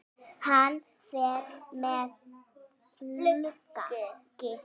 Hann fer með flugi.